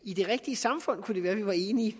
i det rigtige samfund kunne det være at vi var enige